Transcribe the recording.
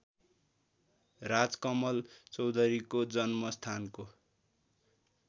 राजकमल चौधरीको जन्मस्थानको